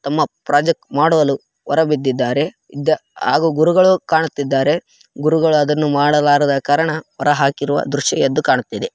ತಮ್ಮ ಪ್ರಾಜೆಕ್ಟ್‌ ಮಾಡಲು ಹೊರಬಿದ್ದಾರೆ ಹಾಗೂ ಗುರುಗಳು ಕಾಣುತ್ತಿದ್ದಾರೆ ಗುರುಗಳು ಅದನ್ನ ಮಾಡಬಾರದ ಕಾರಣ ಹೊರ ಹಾಕಿದ ದೃಶ್ಯ ಕಾಣುತ್ತಿದೆ